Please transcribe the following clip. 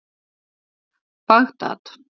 Bagdad